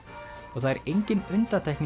og það er engin undantekning